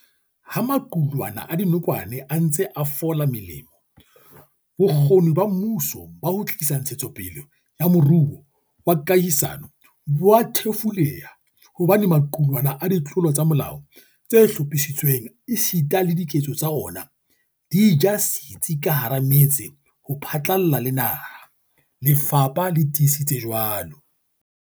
"Ha maqulwana a dinokwane a ntse a fola melemo, bokgoni ba mmuso ba ho tlisa ntshetsopele ya moruo wa kahisano bo a thefuleha hobane maqulwana a ditlolo tsa molao tse hlophisitsweng esita le diketso tsa ona, di ja setsi ka hara metse ho phatlalla le naha," lefapha le tiisitse jwalo.